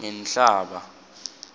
ngenhlaba